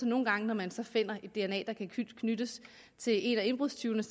nogle gange når man så finder et dna der kan knyttes til en af indbrudstyvene